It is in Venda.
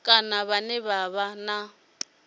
kana vhane vha vha na